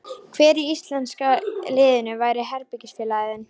Hver í íslenska liðinu væri herbergisfélagi þinn?